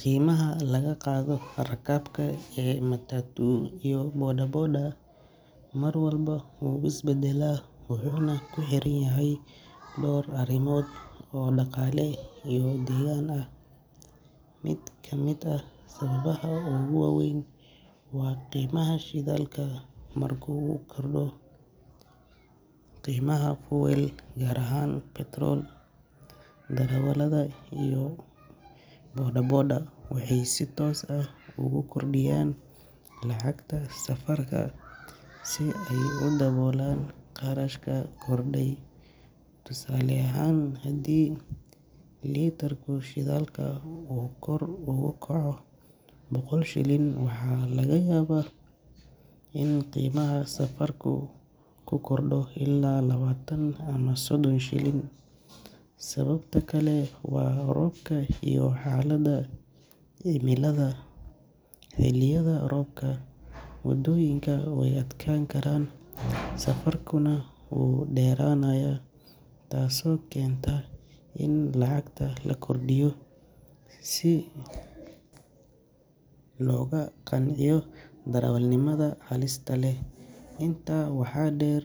Qiimaha laga qaado rakaabka ee matatu iyo bodaboda mar walba wuu is beddelaa, wuxuuna ku xiranyahay dhowr arrimood oo dhaqaale iyo deegaan ah. Mid ka mid ah sababaha ugu weyn waa qiimaha shidaalka. Markii uu kordho qiimaha fuel, gaar ahaan petrol, darawallada iyo darawalada bodaboda waxay si toos ah ugu kordhiyaan lacagta safarka si ay u daboolaan kharashka kordhay. Tusaale ahaan, haddii litirka shidaalka uu kor ugu kaco boqol shilin, waxa laga yaabaa in qiimaha safarku ku kordho ilaa labaatan ama soddon shilin. Sababta kale waa roobka iyo xaaladda cimilada. Xilliyada roobka, wadooyinku way adkaan karaan, safarkuna wuu dheeraanayaa, taasoo keenta in lacagta la kordhiyo si loogu qanciyo darawalnimada halista leh. Intaa waxaa dheer,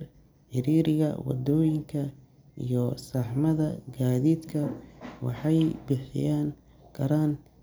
ciriiriga wadooyinka iyo saxmadda gaadiidka waxay sababi karaan.